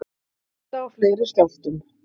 Hætta á fleiri skjálftum